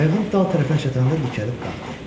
Qayığın dal tərəfinə çatanda dikəlib qalxdı.